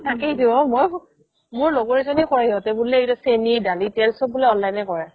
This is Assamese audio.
তাকেইটো ঔ মোৰ লগৰ এজনী কই সিহতে বুলে চেনি, দালি, তেল চব বোলে online য়ে ক'ৰে